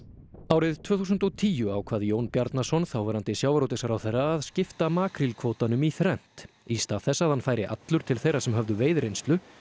árið tvö þúsund og tíu ákvað Jón Bjarnason þáverandi sjávarútvegsráðherra að skipta makrílkvótanum í þrennt í stað þess að hann færi allur til þeirra sem höfðu veiðireynslu